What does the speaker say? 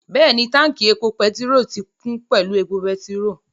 Bẹ́ẹ̀ni, táùnkì epo pẹtirólù náà ti kún pẹ̀lú epo pẹtirólù